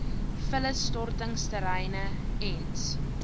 vullisstortings terreine ens